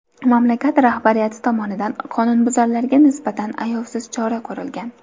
Mamlakat rahbariyati tomonidan qonunbuzarlarga nisbatan ayovsiz chora ko‘rilgan.